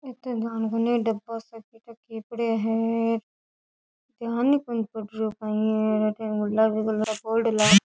इथे ध्यान कोनी डब्बा सा काई ठा कई पड़िया है ध्यान ही कोनी पड़ रहियो है काई है --